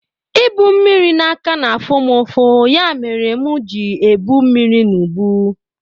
I bu mmiri n'aka na-afụ mụ ụfụ, ya mere mụ ji ebu mmiri n'ubu